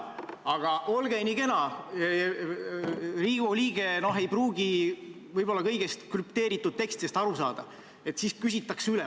Aga olge nii kena, Riigikogu liige ei pruugi kõigist krüpteeritud tekstidest aru saada, seepärast küsitakse üle.